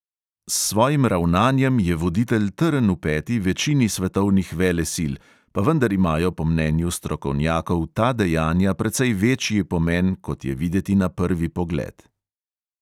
S svojim ravnanjem je voditelj trn v peti večini svetovnih velesil, pa vendar imajo po mnenju strokovnjakov ta dejanja precej večji pomen, kot je videti na prvi pogled.